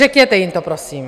Řekněte jim to prosím!